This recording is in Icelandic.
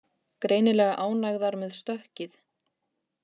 Greinilega ánægðar með stökkið